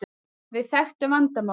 Við þekktum vandamálið.